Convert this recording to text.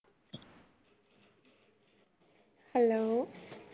hello